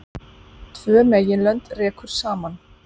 Tvö meginlönd rekur saman.